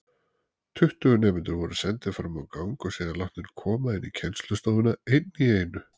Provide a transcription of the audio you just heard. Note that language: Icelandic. Tuttugu nemendur voru sendir framá gang og síðan látnir koma inní kennslustofuna einn í einu.